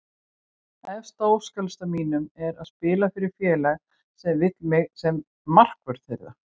Efst á óskalistanum mínum er að spila fyrir félag sem vill mig sem markvörð þeirra.